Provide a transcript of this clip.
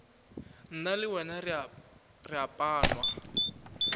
nna le wena re panwa